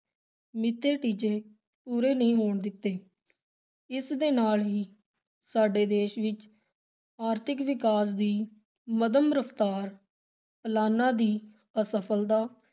ਮਿੱਥੇ ਟੀਚੇ ਪੂਰੇ ਨਹੀਂ ਹੋਣ ਦਿੱਤੇ, ਇਸ ਦੇ ਨਾਲ ਹੀ ਸਾਡੇ ਦੇਸ਼ ਵਿਚ ਆਰਥਿਕ ਵਿਕਾਸ ਦੀ ਮੱਧਮ ਰਫ਼ਤਾਰ ਪਲਾਨਾਂ ਦੀ ਅਸਫਲਤਾ,